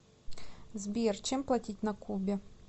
сбер чем платить на кубе